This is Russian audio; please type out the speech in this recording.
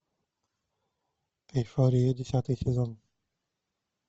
эйфория десятый сезон